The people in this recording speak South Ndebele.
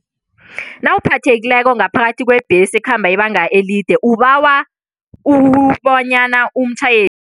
Nawuphathekileko ngaphakathi kwebhesi ekhamba ibanga elide, ubawa ukubonyana umtjhayeli.